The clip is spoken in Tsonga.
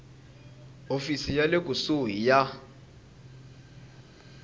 hofisi ya le kusuhi ya